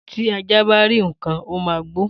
Tí ajá bá rí ǹkan, ó máa gbó